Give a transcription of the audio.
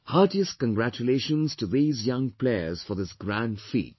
Heartiest congratulations to these young players for this grand feat